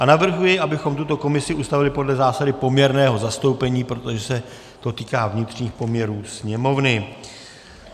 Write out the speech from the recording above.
A navrhuji, abychom tuto komisi ustavili podle zásady poměrného zastoupení, protože se to týká vnitřních poměrů Sněmovny.